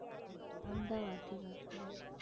અમદાવાદથી વાત કરો છો